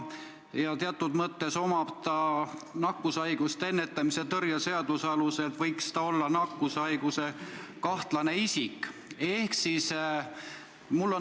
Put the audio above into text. Nakkushaiguste ennetamise ja tõrje seaduse alusel võiks ta olla nakkushaiguskahtlane isik.